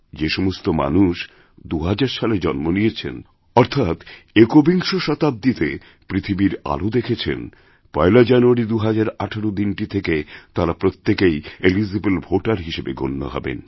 যে সমস্ত মানুষ২০০০ সালে জন্ম নিয়েছেন অর্থাৎ একবিংশ শতাব্দীতে পৃথিবীর আলো দেখেছেন পয়লাজানুয়ারি ২০১৮ দিনটি থেকে তাঁরা প্রত্যেকেই এলিজিবল ভোটের হিসেবে গণ্য হবেন